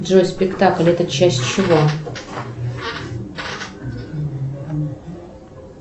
джой спектакль это часть чего